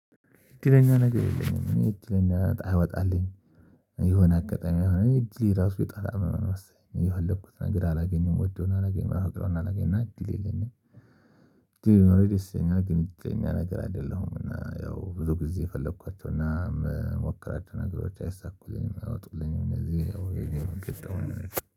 እድለኛ ነገር የለኝም እድለኛ እጣ አይወጣልኝ የሆነ አጋጣሚ እድሌ ራሱ የጣላ መመለስ የለብኩት ነገር አላገኘም ወዶና አላገኘም አናገኝም አናገኝም አናገኝም እድል የለኝም። እንዴ ነው? የደስተኛ ግንኙነት የኛ ነገር አይደለሁም እና ያው ብዙ ጊዜ ፈለኳቸው እና የምሞክራቸው ነገሮች አይሳኩልኝም አወጡልኝም። እነዚህ ኦሬዲ የምቀጥመው